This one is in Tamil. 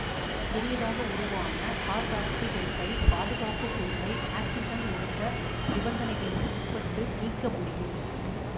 புதியதாக உருவான கார்பாக்சிபென்சைல் பாதுகாப்பு குழுவை ஆக்சிசன் ஒடுக்க நிபந்தனைகளுக்கு உட்பட்டு நீக்க முடியும்